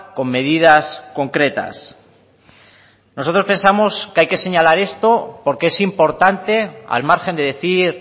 con medidas concretas nosotros pensamos que hay que señalar esto porque es importante al margen de decir